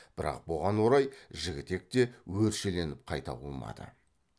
бірақ бұған орай жігітек те өршеленіп қайта қумады